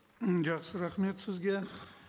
м жақсы рахмет сізге